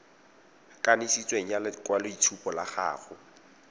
kanisitsweng ya lekwaloitshupo la gago